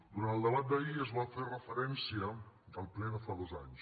durant el debat d’ahir es va fer referència al ple de fa dos anys